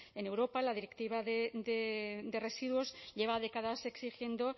en europa la directiva de residuos lleva décadas exigiendo